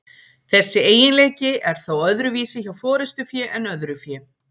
þessi eiginleiki er þó öðruvísi hjá forystufé en öðru fé